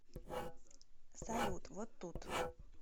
салют вот тут